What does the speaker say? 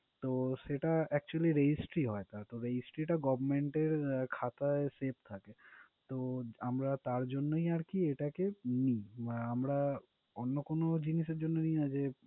সেটা actually registry হয়। তা Government এর খাতায় save থাকে। তো আমরা তার জন্যই আরকি এটাকে নিই, আমরা অন্য কোনো জিনিসের জন্য নিই না যে